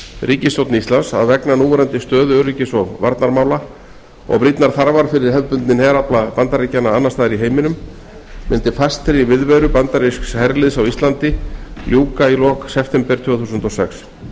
ríkisstjórn íslands að vegna núverandi stöðu öryggis og varnarmála og brýnnar þarfar fyrir hefðbundinn herafla bandaríkjanna annars staðar í heiminum myndi fastri viðveru bandarísks herliðs á íslandi ljúka í lok september tvö þúsund og sex